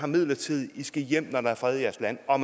midlertidigt i skal hjem når der er fred i jeres land og